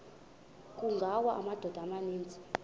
kungawa amadoda amaninzi